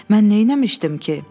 Mən neyləmişdim ki?